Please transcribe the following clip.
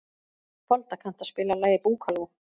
Folda, kanntu að spila lagið „Búkalú“?